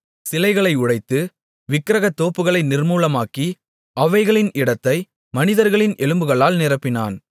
சிலைகளை உடைத்து விக்கிரகத்தோப்புகளை நிர்மூலமாக்கி அவைகளின் இடத்தை மனிதர்களின் எலும்புகளால் நிரப்பினான்